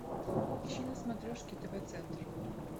ищи на смотрешке тв центр